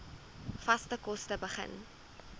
vaste kos begin